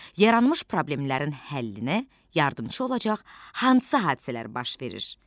Yaranmış problemlərin həllinə yardımçı olacaq hansı hadisələr baş verir?